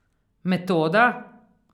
Metoda?